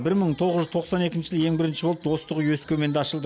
бір мың тоғыз жүз тоқсан екінші жылы ең бірінші болып достық үйі өскеменде ашылды